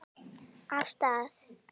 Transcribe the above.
Af stað!